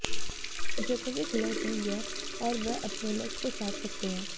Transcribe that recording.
Djokovic लय में हैं और वह अपने लक्ष्य को साध सकते हैं